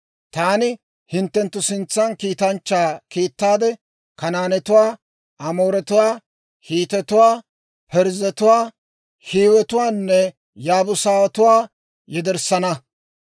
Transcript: Taani hinttenttu sintsan kiitanchchaa kiittaade, Kanaanetuwaa, Amooretuwaa, Hiitetuwaa, Parzzetuwaa, Hiiwetuwaanne Yaabuusatuwaa yederssana.